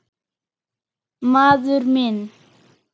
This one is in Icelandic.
Maður minn.